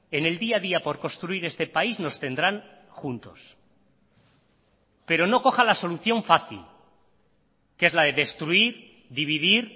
en el día a día por construir este país nos tendrán juntos pero no coja la solución fácil que es la de destruir dividir